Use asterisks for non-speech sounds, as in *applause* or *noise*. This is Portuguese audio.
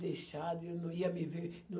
deixado, eu não ia me ver. *unintelligible*